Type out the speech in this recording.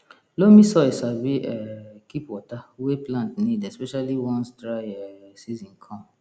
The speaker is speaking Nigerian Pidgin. loamy soil sabi um keep water wey plant need especially once dry um season come